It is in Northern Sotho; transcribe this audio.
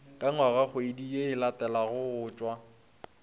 ka ngwagakgwedi ye e latelagotša